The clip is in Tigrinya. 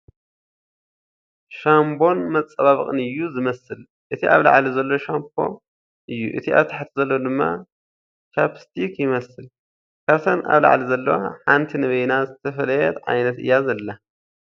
ሻምቦን መፀባበቕን እዩ ዝመስል እቲ ኣብ ላዕሊ ዘሎ ሻምፖ እዩ እቲ ኣብ ታሕቲ ዘሎ ድማ ቻፕስቲክ ይመስል ፡ ካብተን ኣብ ላዕሊ ዘለዋ ሓንቲ ንበይና ዝተፈለየት ዓይነት እያ ዘላ ።